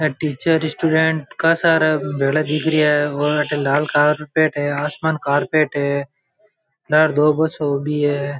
Teacher student का सारा भेला दिख रिहा है और लाल कारपेट है आसमान कारपेट है लारे दो बस ऊबी है।